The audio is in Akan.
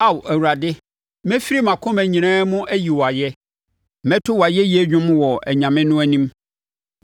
Ao Awurade, mɛfiri mʼakoma nyinaa mu ayi wo ayɛ; mɛto wʼayɛyie dwom wɔ anyame no anim.